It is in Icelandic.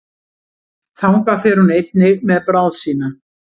Þangað fer hún einnig með bráð sína.